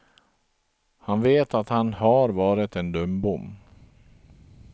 Han vet att han har varit en dumbom.